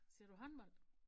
Ser du håndbold?